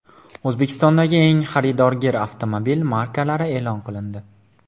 O‘zbekistondagi eng xaridorgir avtomobil markalari e’lon qilindi.